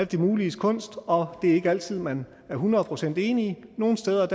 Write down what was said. det muliges kunst og det er ikke altid at man er hundrede procent enige nogle steder